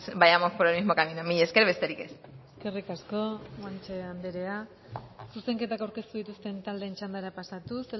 vayamos por el mismo camino mila esker besterik ez eskerrik asko guanche andrea zuzenketa aurkeztu dituzten taldeen txandara pasatuz